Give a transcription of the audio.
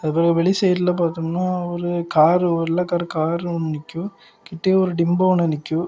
அது வெளி சைடுல பார்த்தோம்னா ஒரு கார்ல ஒரு வெள்ளை கலர்ல நிக்கும் கிட்டயும் ஒரு டிம்போ ஒன்னு நிக்கும்.